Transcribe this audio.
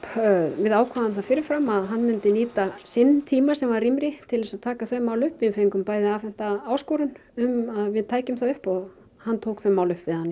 við ákváðum það fyrir fram að hann myndi nýta sinn tíma sem var rýmri til þess að taka þau mál upp við fengum bæði afhenta áskorun um að við tækjum það upp og hann tók þau mál upp við hann